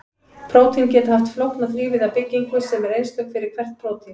prótín geta haft flókna þrívíða byggingu sem er einstök fyrir hvert prótín